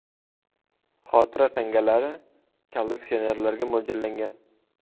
Xotira tangalari kolleksionerlarga mo‘ljallangan.